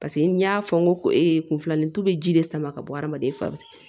Paseke n y'a fɔ n ko ee kun filanin tu bɛ ji de sama ka bɔ hadamaden fari